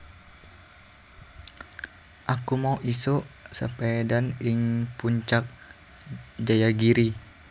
Aku mau isuk sepedhaan ing Puncak Jayagiri